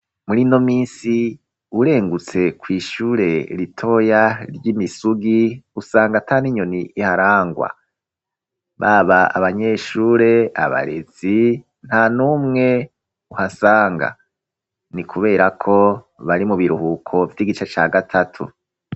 Muri ino minsi, urengutse kw'ishure ritoya ry'i Misugi, usanga ata n'inyoni iharangwa, baba abanyeshure, abarezi, nta n'umwe uhasanga, ni kubera ko bari mu biruhuko vy'igice ca gatatu.